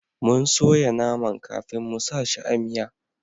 Mun soya naman kafin mu sa shi a miya